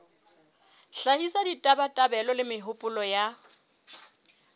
hlahisa ditabatabelo le mehopolo ya